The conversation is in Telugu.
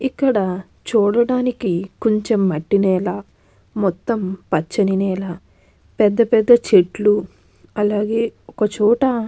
ఇక్కడ చూడటానికి కొంచెం మట్టి నేల మొత్తం పచ్చని నేల పెద్దపెద్ద చెట్లు అలాగే ఒకచోట.